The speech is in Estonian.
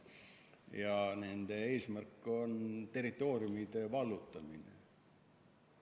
Ja nende eesmärk on territooriumide vallutamine.